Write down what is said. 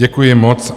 Děkuji moc.